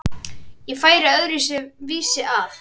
Ég færi öðru vísi að.